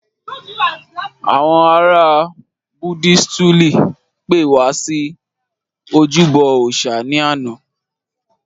Àwọn ará Budisituli pe wá wá sí ojúbọ òòsà ni ana